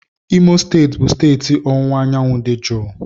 Imo steeti bụ steeti ọwụwa anyanwụ dị jụụ.